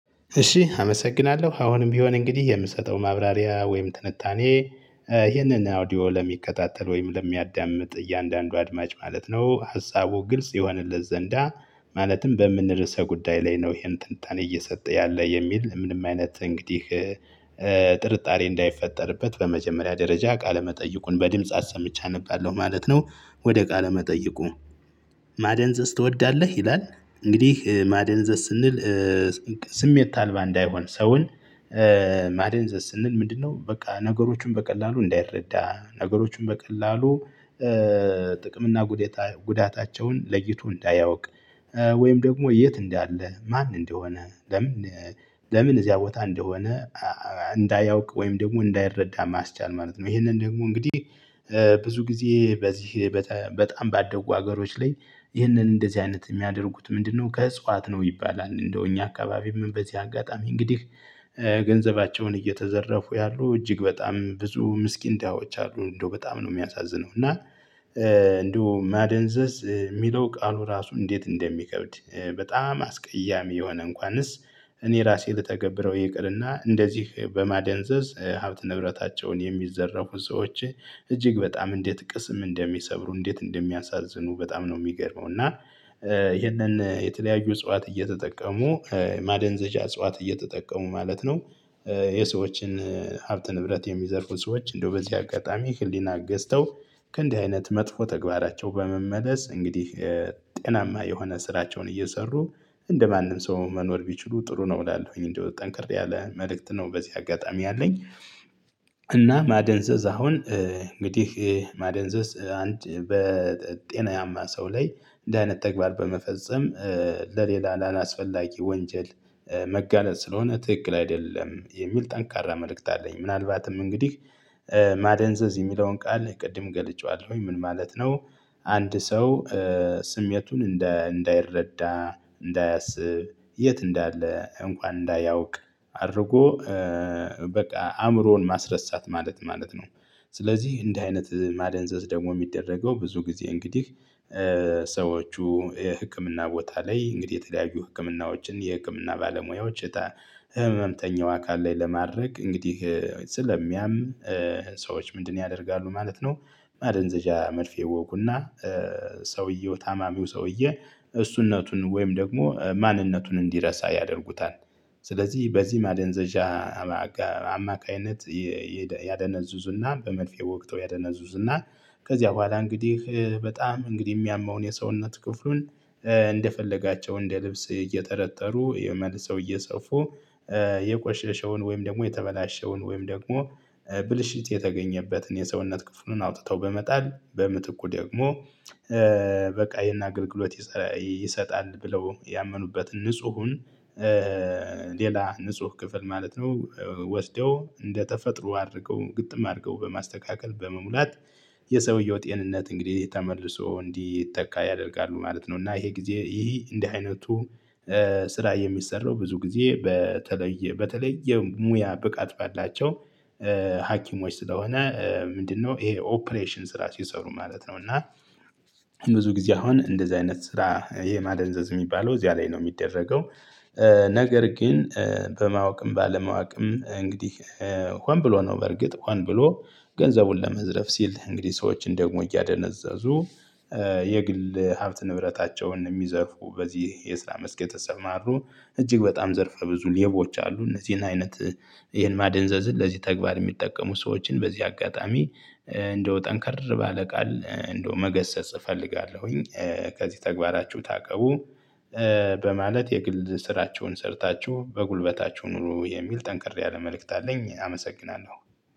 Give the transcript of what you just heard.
እሺ አመሰግናለሁ አሁንም ቢሆን እንግዲህ የምሰጠው ማብራሪያ ወይም ትንታኔ ይህንን አውዲዮ ለሚከታተል ወይም ለሚያዳምጥ እያንዳንዱ አድማጭ ማለት ነው ሀሳቡ ግልጽ የሆንለት ዘንዳ ማለትም በምን ርዕሰ ጉዳይ ላይ ነው ይሄን ትንታኔ እየሰጠ ያለ የሚል ምንም አይነት እንግዲህ ጥርጣሬ እንዳይፈጠርበት በመጀመሪያ ደረጃ ቃለመጠይቁን በድምጽ አሰምቼ አነባለሁ ማለት ነው። ወደ ቃለ መጠይቁ ማደንዘዝ ትወዳለህ ይላል? እንግዲህ ማደንዘዝ ስንል ስሜት አልባ እንዳይሆን ሰውን ማደንዘዝ ስንል ምንድነው? በቃ ነገሮችን በቀላሉ እንዳይረዳ ነገሮችን በቀላሉ ጥቅም እና ጉዳታቸውን ለይቶ እንዳያውቅ ወይም ደግሞ የት እንዳለ ማን እንደሆነ ለምን ለምን እዚያ ቦታ እንደሆነ እንዳያውቅ ወይም ደግሞ እንዳይረዳ ማስቻል ማለት ነው። ይሄንን ደግሞ እንግዲህ ብዙ ጊዜ በዚህ በጣም ባደጉ ሀገሮች ላይ ይህንን እንደዚህ አይነት የሚያደርጉት ምንድነው ከእጽዋት ነው ይባላል። እንደውም እኛ አካባቢ ምን በዚህ አጋጣሚ እንግዲህ ገንዘባቸውን እየተዘረፉ ያሉ እጅግ በጣም ብዙ ምስኪን ዳሀዎች አሉ እንደው በጣም ነው የሚያሳዝነው እና። እንደው ማደንዘዝ የሚለው ቃሉ ራሱ እንዴት እንደሚከብድ በጣም አስቀያሚ የሆነ እንኳንስ እኔ ራሴ ልተገብረው ይቅርና እንደዚህ በማደንዘዝ ሀብት ንብረታቸውን የሚዘረፉ ሰዎች እጅግ በጣም እንዴት ቅስም እንደሚሰብሩ እንዴት እንደሚያሳዝኑ በጣም ነው የሚገርመው። እና ይሄንን የተለያዩ እጽዋት እየተጠቀሙ ማደንዘዣ እጽዋት እየተጠቀሙ ማለት ነው። የሰዎችን ሀብት ንብረት የሚዘርፉ ሰዎች እንደው በዚህ አጋጣሚ ህሊና ገዝተው ከእንዲህ አይነት መጥፎ ተግባራቸው በመመለስ እንግዲህ ጤናማ የሆነ ስራቸውን እየሰሩ እንደማንም ሰው መኖር ቢችሉ ጥሩ ነው እላለሁኝ። እንደው ጠንክሬ ያለ መልእክት ነው በዚህ አጋጣሚ ያለኝ። እና ማደንዘዝ አሁን እንግዲህ ማደንዘዝ አንድ በጤናማ ሰው ላይ እንድህ አይነት ተግባር በመፈጸም ለሌላ ላላስፈላጊ ወንጀል መጋለጥ ስለሆነ ትክክል አይደለም የሚል ጠንካራ መልእክት አለኝ። ምናልባትም እንግዲህ ማደንዘዝ የሚለውን ቃል ቅድም ገልጬዋለሁኝ ምን ማለት ነው? አንድ ሰው ስሜቱን እንዳይረዳ እንዳያስብ የት እንዳለ እንኳን እንዳያውቅ አድርጎ በቃ አእምሮውን ማስረሳት ማለት ማለት ነው። ስለዚህ እንደ አይነት ማደንዘዝ ደግሞ የሚደረገው ብዙ ጊዜ እንግዲህ ሰዎቹ የህክምና ቦታ ላይ እንግዲህ የተለያዩ ህክምናዎችን የህክምና ባለሙያዎች እጣ ህመምተኛው አካል ላይ ለማድረግ እንግዲህ ስለሚያም ሰዎች ምንድነው ያደርጋሉ ማለት ነው? ማደንዘዣ መልፌ ይወጉና ሰውየው ታማሚው ሰውየው እሱነቱን ወይም ደግሞ ማንነቱን እንዲረሳ ያደርጉታል። ስለዚህ በዚህ ማደንዘዣ አማካኝነት ያደነዝዙና በመርፌ ወግተው ያደነዙዙና ከዚያ በኋላ እንግዲህ በጣም እንግዲህ የሚያመውን የሰውነት ክፍሉን እንደፈለጋቸው እንደ ልብስ እየተረተሩ መልሰው እየሰፉ የቆሸሸውን ወይም ደግሞ የተበላሸውን ወይም ደግሞ ብልሽት የተገኘበትን የሰውነት ክፍሉን አውጥተው በመጣል በምትኩ ደግሞ በቃ ይሄን አገልግሎት ይሰጣል ብለው ያመኑበትን ንጹሁን ሌላ ንጹህ ክፍል ማለት ነው። ወስደው እንደተፈጥሮ አድርገው ግጥም አድርገው በማስተካከል በመሙላት የሰውየው ጤንነት እንግዲህ ተመልሶ እንዲተካ ያደርጋሉ ማለት ነው። እና ይሄ ጊዜ ይሄ እንደ አይነቱ ስራ የሚሰራው ብዙ ጊዜ በተለየ በተለየ ሙያ ብቃት በላቸው ሀኪሞች ስለሆነ ምንድነው ይሄ ኦፕሬሽን ስራ ሲሰሩ ማለት ነው። እና ብዙ ጊዜ አሁን እንደዚህ አይነት ስራ የማደንዘዝ የሚባለው እዚያ ላይ ነው የሚደረገው። ነገር ግን በማወቅም ባለማወቅም እንግዲህ ሆን ብሎ ነው በርግጥ ሆን ብሎ ገንዘቡን ለመዝረፍ ሲል እንግዲህ ሰዎችን ደግሞ እያደነዘዙ የግል ሀብት ንብረታቸውን የሚዘርፉ በዚህ የስራ መስክ የተሰማሩ እጅግ በጣም ዘርፈ ብዙ ልቦች አሉ። እነዚህን አይነት ይሄን ማደንዘዝን ለዚህ ተግባር የሚጠቀሙ ሰዎችን በዚህ አጋጣሚ እንደው ጠንካራ ባለ ቃል እንደው መገሰጽ እፈልጋለሁኝ። ከዚህ ተግባራችሁ ታቀቡ። በማለት የግል ስራቸውን ሰርታችሁ በጉልበታችሁ ኑሩ የሚል ጠንክር ያለ መልእክት አለኝ። አመሰግናለሁ።